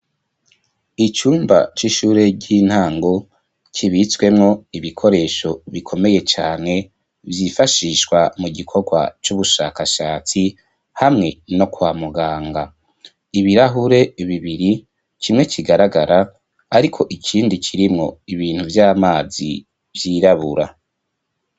Icumba c'ishure ry'intango kibitswemwo ibikoresho bikomeye cane vyifashishwa mu gikorwa c'ubushakashatsi hamwe no kwa muganga, ibirahure bibiri kimwe kigaragara ariko ikindi kirimwo ibintu vy'amazi vyirabura.